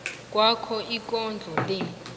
kwakho ikondlo le